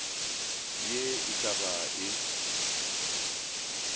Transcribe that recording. ye e ka ba e